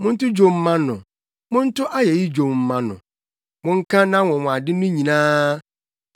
Monto dwom mma no, monto ayeyi dwom mma no; monka nʼanwonwade no nyinaa.